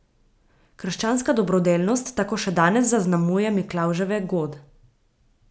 Krščanska dobrodelnost tako še danes zaznamuje Miklavževe god.